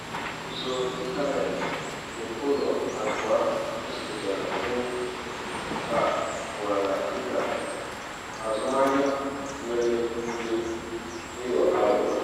usoro ịntanetị nke ụlọ akụ ahụ gosipụtara mwepu a nwara dịka azụmahịa nwere ike ịghọ aghụghọ.